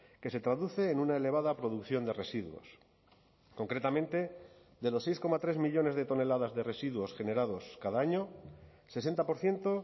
que se traduce en una elevada producción de residuos concretamente de los seis coma tres millónes de toneladas de residuos generados cada año sesenta por ciento